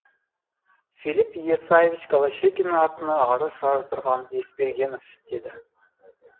филипп исаевич голощекиннің атына арыз жаздырған есбергенов деді